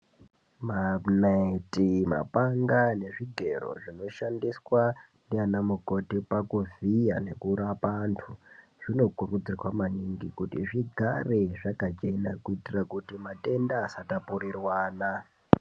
Manaiti, mapanga nezvigero zvinoshandiswa ndiana mukoti pakuvhiya nekurapa antu zvinokurudzirwa maningi kuti zvigare zvakachena kuitira kuti matenda asatapuriranwa.